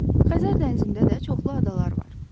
Xəzər dənizində də çoxlu adalar var.